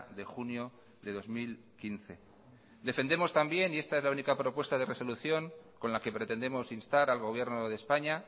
de junio de dos mil quince defendemos también y esta es la única propuesta de resolución con la que pretendemos instar al gobierno de españa